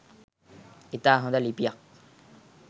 ඉතා හොද ලිපියක්.